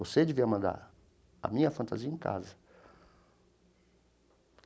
Você devia mandar a minha fantasia em casa.